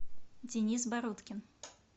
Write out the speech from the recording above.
денис бородкин